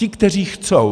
Ti, kteří chtějí.